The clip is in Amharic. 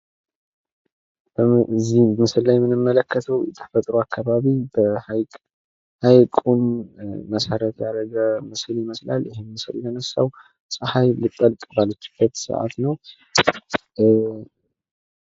ከዚህ ምስል ላይ የምንመለከተው የተፈጥሮ አካባቢ በሃይቅ ወይም ምስል ይመስላል። ይህ ምስል እንግዲህ የተለነሳው ጸሀይ ልትጠልቅ ባለችበት ሰዓት ነው የተነሳው።